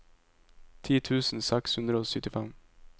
ti tusen seks hundre og syttifem